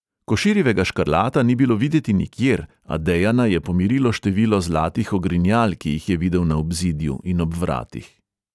Koširjevega škrlata ni bilo videti nikjer, a dejana je pomirilo število zlatih ogrinjal, ki jih je videl na obzidju in ob vratih.